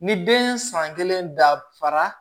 Ni den ye san kelen dafara